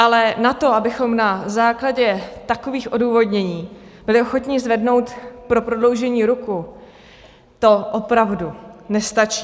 Ale na to, abychom na základě takových odůvodnění byli ochotni zvednout pro prodloužení ruku, to opravdu nestačí.